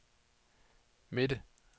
midte